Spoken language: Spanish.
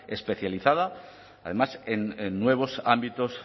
especializada además en nuevos ámbitos